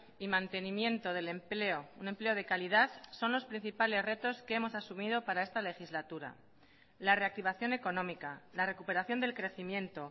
y mantenimiento del empleo un empleo de calidad son los principales retos que hemos asumido para esta legislatura la reactivación económica la recuperación del crecimiento